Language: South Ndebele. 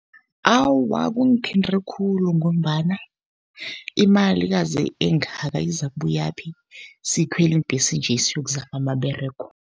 Awa, kungithinte khulu ngombana imalikazi engaka izakubuyaphi, sikhwela iimbhesi nje siyokuzama amaberego.